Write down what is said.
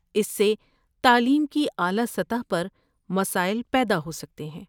اس سے تعلیم کی اعلیٰ سطح پر مسائل پیدا ہو سکتے ہیں۔